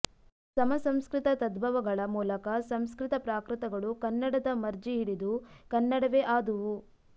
ಸಮಸಂಸ್ಕೃತ ತದ್ಭವಗಳ ಮೂಲಕ ಸಂಸ್ಕೃತ ಪ್ರಾಕೃತಗಳು ಕನ್ನಡದ ಮರ್ಜಿಹಿಡಿದು ಕನ್ನಡವೇ ಆದುವು